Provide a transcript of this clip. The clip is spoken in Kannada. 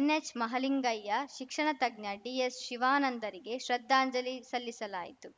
ಎನ್‌ಎಚ್‌ ಮಹಲಿಂಗಯ್ಯ ಶಿಕ್ಷಣ ತಜ್ಞ ಡಿಎಸ್‌ ಶಿವಾನಂದರಿಗೆ ಶ್ರದ್ಧಾಂಜಲಿ ಸಲ್ಲಿಸಲಾಯಿತು